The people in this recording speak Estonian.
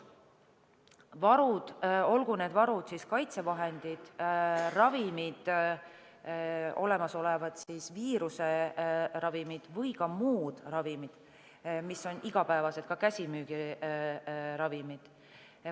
Varud – olgu need kaitsevahendid või ravimid, sh olemasolevad viiruse ravimid või muud ravimid, mis on igapäevaselt käsimüügis saadaval.